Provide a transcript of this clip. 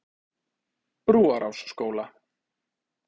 Brúarásskóla